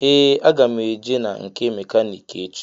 Ee aga m eje na nke mekaniki echi.